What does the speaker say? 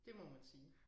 Det må man sige